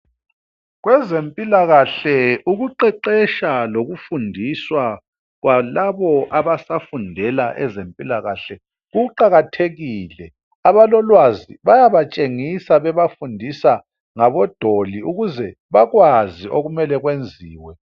Kwezempilakahle ukuqeqetsha lokufundiswa kwalabo abasafundela ezempilakahle kuqakathekile. Abalolwazi bayabatshengisa bebafundisa ngabodoli ukuze bakwazi okumele kwenziwe.